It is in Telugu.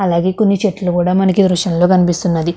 అలాగే కొన్ని చెట్లు కూడా మనకు ఈ దృషంలో కనిపిస్తున్నది.